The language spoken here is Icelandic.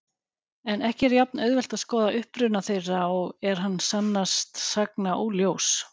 En ekki er jafn-auðvelt að skoða uppruna þeirra og er hann sannast sagna óljós.